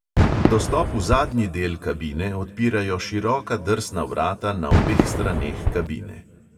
Dostop v zadnji del kabine odpirajo široka drsna vrata na obeh straneh kabine.